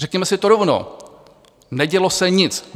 Řekněme si to rovnou - nedělo se nic.